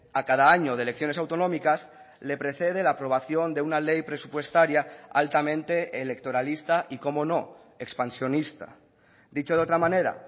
a cada año de elecciones autonómicas le precede la aprobación de una ley presupuestaria altamente electoralista y cómo no expansionista dicho de otra manera